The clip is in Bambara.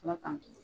Ala k'an kiisi